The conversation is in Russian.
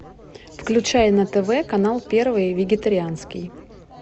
включай на тв канал первый вегетарианский